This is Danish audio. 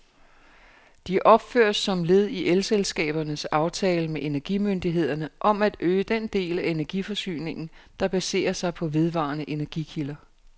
De opføres som led i elselskabernes aftale med energimyndighederne om at øge den del af energiforsyningen, der baserer sig på vedvarende energikilder.